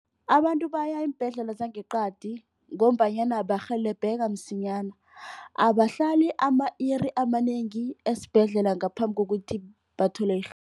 Abantu baya iimbhedlela zangeqadi ngombanyana barhelebheka msinyana. Abahlali ama-iri amanengi esibhedlela ngaphambi kokuthi bathole